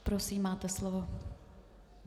Prosím, máte slovo.